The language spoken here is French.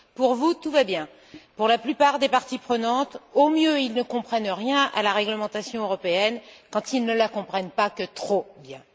Pour vous, tout va bien. La plupart des parties prenantes, au mieux, ne comprennent rien à la réglementation européenne, quand elles ne la comprennent pas que trop bien.